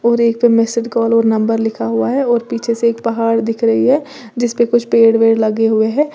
और एक message call और नंबर लिखा हुआ है और पीछे से एक पहाड़ दिख रही है जिस पे कुछ पेड़ वेड लगे हुए हैं।